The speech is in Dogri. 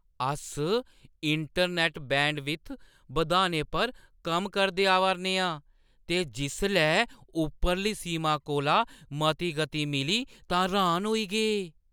अस इंटरनैट्ट बैंडविड्थ बधाने पर कम्म करदे आवा 'रने आं ते जिसलै उप्परली सीमा कोला मती गति मिली तां र्‌हान होई गे ।